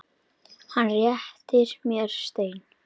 Hann réttir mér stein.